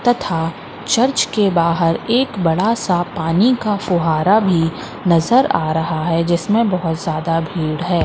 तथा चर्च के बाहर एक बड़ा सा पानी का फुहारा भी नजर आ रहा है जिसमें बहोत ज्यादा भीड़ है।